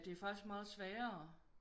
Det er faktisk meget sværere